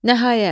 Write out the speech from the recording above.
Nəhayət.